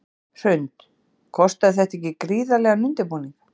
Hrund: Kostaði þetta ekki gríðarlegan undirbúning?